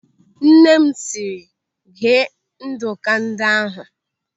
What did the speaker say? Nne m, sịrị, "Ghee nduku ndị ahụ!"